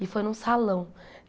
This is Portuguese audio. E foi num salão.